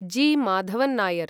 जि. Madhavan Nair